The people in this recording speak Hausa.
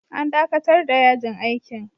An dakatar da yajin aikin.